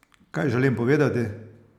Kaj želim povedati?